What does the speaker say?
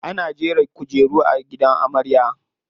Ana jera kujeru a gidan amarya.